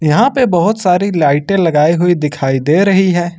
यहां पे बहोत सारी लाइटें लगाई हुई दिखाई दे रही हैं।